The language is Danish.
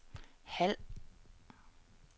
halv